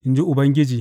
in ji Ubangiji.